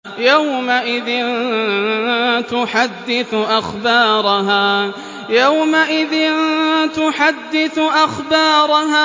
يَوْمَئِذٍ تُحَدِّثُ أَخْبَارَهَا